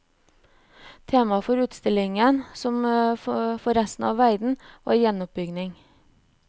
Tema for utstillingen, som for resten av verden, var gjenoppbygging.